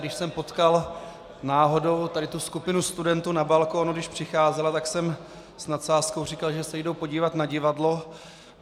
Když jsem potkal náhodou tady tu skupinu studentů na balkoně, když přicházela, tak jsem s nadsázkou říkal, že se jdou podívat na divadlo.